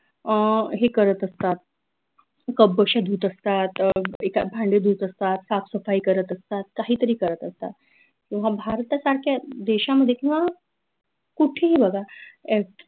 अं हे करत असतात cup बशी धूत असतात अह एखाद भांडे धूत असतात साफसफाई करत असतात काही तरी करत असतात भारतासारख्या देशामध्ये किंव्हा कुठेही बघा ए